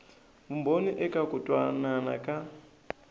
vumbhoni eka ku twanana ka